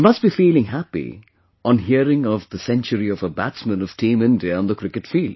You must be feeling happy on hearing of the century of a batsman of Team India on the cricket field